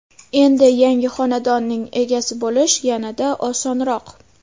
Endi yangi xonadonning egasi bo‘lish yanada osonroq.